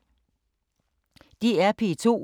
DR P2